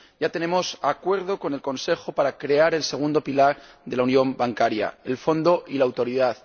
Ya tenemos acuerdo con el Consejo para crear el segundo pilar de la unión bancaria, el Fondo y la Autoridad.